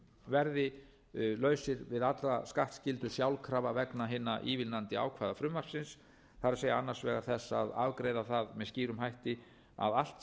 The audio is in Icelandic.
verði lausir við alla skattskyldu sjálfkrafa vegna hinna ívilnandi ákvæða frumvarpsins það er annars vegar þess að afgreiða það með skýrum hætti að allt sem